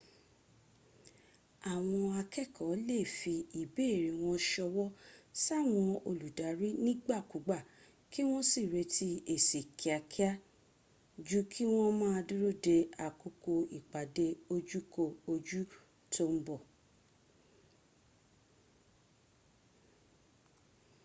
àwọn akẹ́ẹ̀kọ́ lè fi ìbéèrè wọn ṣọwọ́ sáwọn olùdarí nígbàkúgbà kí wọ́n sì retí èsì kíákiá ju kí wọ́n má a dúró de àkókò ípàdé ojú ko ojú tó ń bọ̀